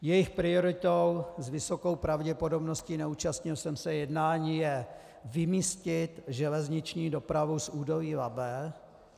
Jejich prioritou s vysokou pravděpodobností, neúčastnil jsem se jednání, je vymístit železniční dopravu z údolí Labe.